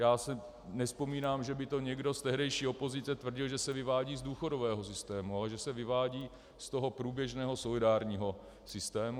Já si nevzpomínám, že by to někdo z tehdejší opozice tvrdil, že se vyvádí z důchodového systému, ale že se vyvádí z toho průběžného solidárního systému.